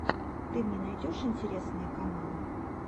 ты мне найдешь интересные каналы